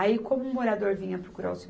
Aí, como o morador vinha procurar o Seu